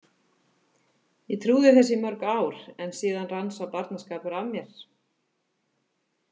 Ég trúði þessu í mörg ár en síðar rann sá barnaskapur af mér.